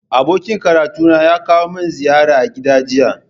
Abokin karatuna ya kawo min ziyara a gida jiya